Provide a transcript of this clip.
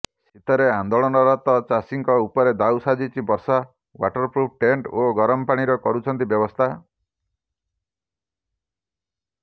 ଶୀତରେ ଆନ୍ଦୋଳନରତ ଚାଷୀଙ୍କ ଉପରେ ଦାଉସାଧିଛି ବର୍ଷା ୱାଟରପ୍ରୁଫ ଟେଣ୍ଟ ଓ ଗରମ ପାଣିର କରୁଛନ୍ତି ବ୍ୟବସ୍ଥା